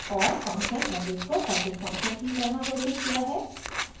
और function average को public function की तरह घोषित किया है